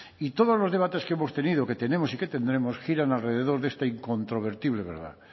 y todos los debates que hemos tenido que tenemos y que tendremos giran alrededor de esta incontrovertible verdad